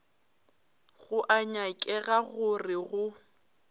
go a nyakega gore go